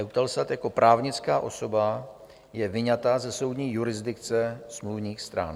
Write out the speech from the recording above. EUTELSAT jako právnická osoba je vyňata ze soudní jurisdikce smluvních stran.